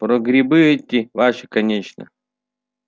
про грибы эти ваши конечно